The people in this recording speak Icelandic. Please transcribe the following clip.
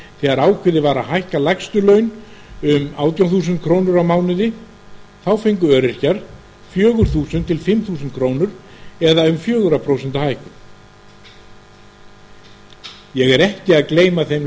þegar ákveðið var að hækka lægstu laun um átján þúsund krónur á mánuði þá fengu öryrkjar fjórar til fimm þúsund krónur eða um fjögur prósent hækkun ég er ekki að gleyma þeim